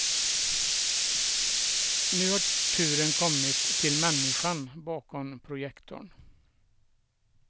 Nu har turen kommit till människan bakom projektorn.